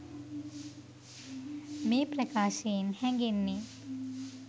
මේ ප්‍රකාශයෙන් හැඟෙන්නේ